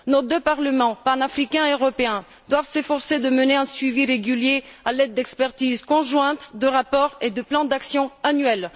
Nos deux parlements, panafricain et européen, doivent s'efforcer de mener un suivi régulier à l'aide d'expertises conjointes, de rapports et de plans d'action annuels.